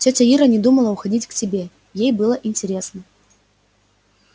тётя ира не думала уходить к себе ей было интересно